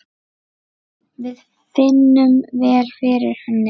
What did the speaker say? Við finnum vel fyrir henni.